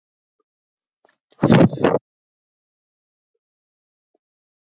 Góðan daginn, félagi, sagði Álfur hressilega.